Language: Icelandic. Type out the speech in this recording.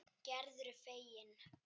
Gerður er fegin.